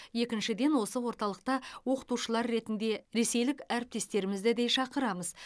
екіншіден осы орталықта оқытушылар ретінде ресейлік әріптестерімізді де шақырамыз